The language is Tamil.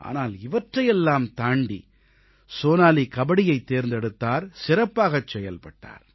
ஆனால் இவற்றையெல்லாம் தாண்டி சோனாலீ கபடியைத் தேர்ந்தெடுத்தார் சிறப்பாகச் செயல்பட்டார்